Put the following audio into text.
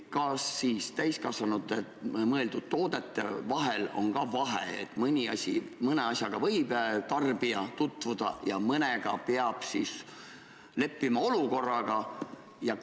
Kas täiskasvanutele mõeldud toodetel on ka vahe, et mõne asjaga võib tarbija enne tutvuda, aga mõne puhul peab leppima olukorraga?